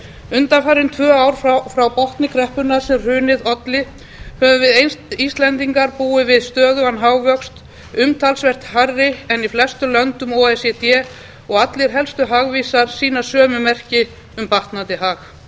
undanfarin tvö ár frá botni kreppunnar sem hrunið olli höfum við íslendingar búið við stöðugan hagvöxt umtalsvert meiri en í flestum löndum o e c d og allir helstu hagvísar sýna sömu merki um batnandi hag